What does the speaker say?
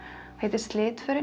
heitir